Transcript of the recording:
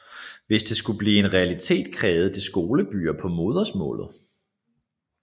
Hvis dette skulle blive en realitet krævede det skolebøger på modersmålet